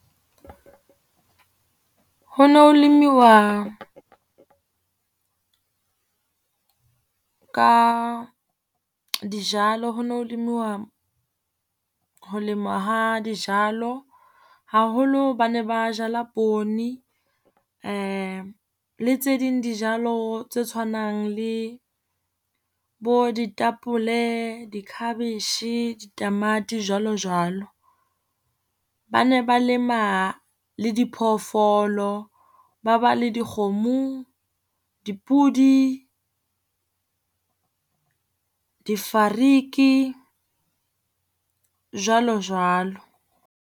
Ho ne ho lemiwa ka dijalo, ho ne ho lemiwa ho lemwa ha dijalo. Haholo ba ne ba jala poone le tse ding dijalo tse tshwanang le bo ditapole, di-cabbage, ditamati jwalo jwalo. Ba ne ba lema le diphoofolo, ba ba le dikgomo, dipudi, difariki jwalo jwalo.